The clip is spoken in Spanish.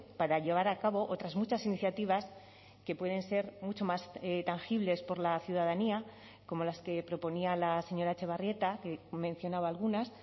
para llevar a cabo otras muchas iniciativas que pueden ser mucho más tangibles por la ciudadanía como las que proponía la señora etxebarrieta que mencionaba algunas